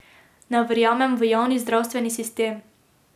Ne verjamem v javni zdravstveni sistem.